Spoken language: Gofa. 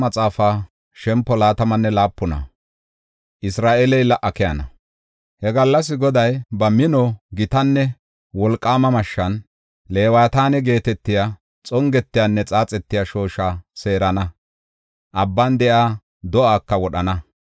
He gallas Goday ba mino, gitanne wolqaama mashshan Leewataane geetetiya xongetiyanne xaaxetiya shoosha seerana; abban de7iya do7aaka wodhana.